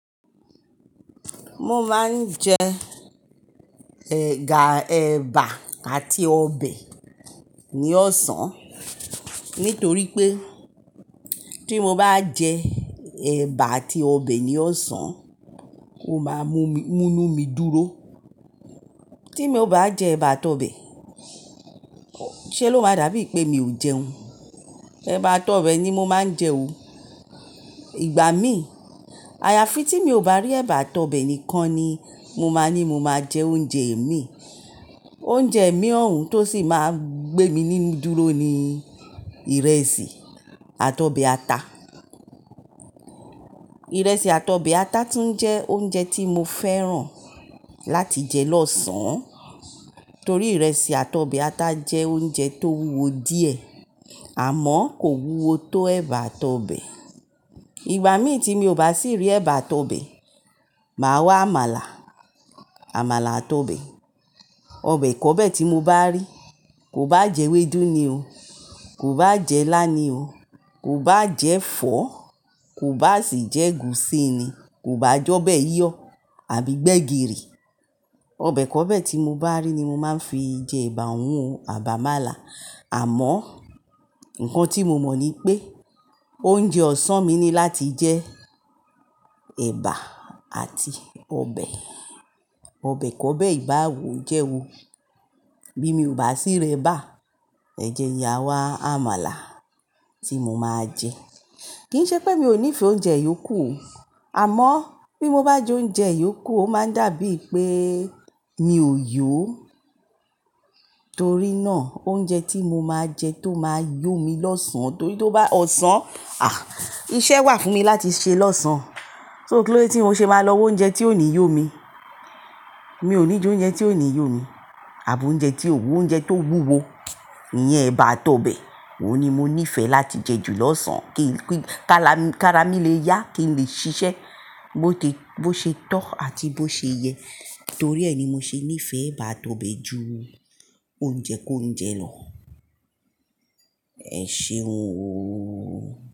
Mo máa ń jẹ ẹ̀gà eba àti ọbẹ̀ ní ọ̀sán nítorí pé tí mo bá jẹ eba àti ọbẹ̀ ní ọ̀sán, ó máa mú mi-- mú inú mi dúró. Tí mo ò bá jẹ eba àti ọbẹ̀, ṣé lo máa dàbí pé mi ò jẹun? Eba àti ọbẹ̀ ni mo máa ń jẹ o. Ìgbà mí, àyàfi tí mi ò bá rí eba àti ọbẹ̀ nìkan ni mo máa ní mo máa jẹ oúnjẹ ẹ̀mí. Oúnjẹ ẹ̀mí ọ̀hún tó sì máa gbé mi nínú dúró ni ìrẹsì àti ọbẹ̀ ata. Ìrẹsì àti ọbẹ̀ ata tún jẹ́ oúnjẹ tí mo fẹ́ràn láti jẹ lọ́sàn-án torí ìrẹsì àti ọbẹ̀ ata jẹ́ oúnjẹ tó wúwo díẹ̀ àmọ́ kò wúwo tó eba àti ọbẹ̀. Ìgbà mí tí mi ò bá sì rí eba àti ọbẹ̀, màá wá àmàlà, àmàlà àti ọbẹ̀. Ọbẹ̀ kọ́bẹ̀ tí mo bá rí, kò bá jẹ́ ewédú ni o, kò bá jẹ́ ilá ni o, kò bá jẹ́ ẹ̀fọ́, kò bá sì jẹ́ gùsí ni, kò bá jọ́bẹ́ yíyọ̀ àbí gbegiri. Ọbẹ̀ kọ́bẹ̀ tí mo bá rí ni mo máa ń fi jẹ eba, òun àbi àmàlà. Àmọ́, ǹkan tí mo mọ̀ ni pé oúnjẹ ọ̀sán mi ni láti jẹ eba àti ọbẹ̀, ọbẹ̀ kọ́bẹ̀ ìbá wò jẹ́ wo. Bí mi ò bá sì rí eba, ẹ jẹ n yà wá àmàlà tí mo máa jẹ. Kì í ṣe pé mi ò nífẹ̀ẹ́ oúnjẹ yòókù o, àmọ́ bí mo bá jẹ oúnjẹ yòókù, ó máa dàbí pé mi ò yó. Torí náà, oúnjẹ tí mo máa jẹ tó máa yó mi lọ́sàn-án torí tí ó bá ọ̀sán, àh! Iṣẹ́ wà fún mi láti ṣe lọ́sàn-án. So kí ló dé tí n o ṣe máa lọ wo oúnjẹ tí ò ní yó mi? Mi ò ní jẹ oúnjẹ tí ò ní yó mi àbi oúnjẹ tí ó wúwo. Oúnjẹ tó wúwo iyen eba àti ọbẹ̀, òun ni mo nífẹ̀ẹ́ láti jẹ jù lọ́sàn-án kí, kí, ká lá-- ká ra mí lè yá, kí n lè ṣiṣẹ́ bó tí, bó ṣe tọ́ àti bó ṣe yẹ torí ẹ ní mo ṣe nífẹ̀ẹ́ eba àti ọbẹ̀ ju oúnjẹ kọ́únjẹ lọ. Ẹ ṣeun ooo.